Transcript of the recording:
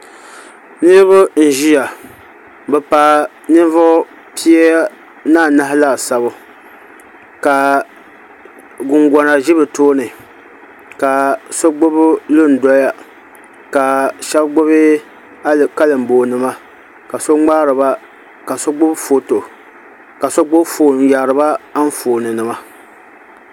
Niraba n ʒiya bi paai ninvuɣu pia ni anahi laasabu ka gungona ʒi bi tooni ka so gbubi lun doya ka shab gbubi kalinboo nima ka so gbubi foon n yaariba Anfooni nima